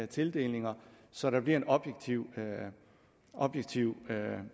tildelinger så der bliver en objektiv objektiv